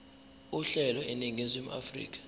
uhlelo eningizimu afrika